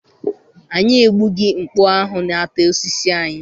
Anyị egbụghi mkpu ahụ na-ata osisi anyị.